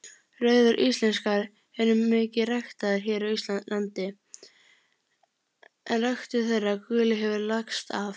Rauðar íslenskar eru mikið ræktaðar hér á landi en ræktun þeirra gulu hefur lagst af.